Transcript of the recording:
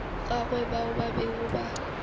gagwe bao ba bego ba